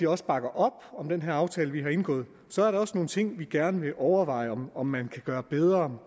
også bakker op om den her aftale vi har indgået så er der også nogle ting vi gerne vil overveje om om man kan gøre bedre